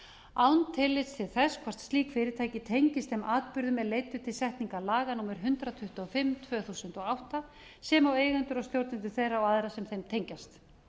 án tillits til þess hvort slík fyrirtæki tengist þeim atburðum er leiddu til setningar laga númer hundrað tuttugu og fimm tvö þúsund og átta sem og eigendur og stjórnendur þeirra og aðra sem þeim tengjast